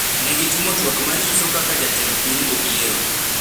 ne gitimo twak ma nyiso kaka jatend piny Obiero